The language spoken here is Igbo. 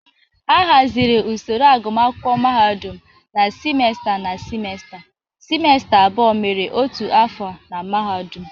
A hazịri usoro agụmakwụkwọ mahadụm na simesta na simesta; simesta abụọ mere otu afọ na mahadum.